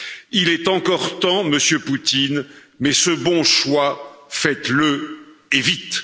Il est encore temps, Monsieur Poutine, mais ce bon choix, faites le et vite.